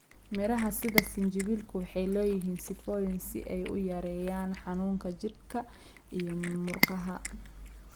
Miraha sida sinjibiilku waxay leeyihiin sifooyin si ay u yareeyaan xanuunka jidhka iyo murqaha.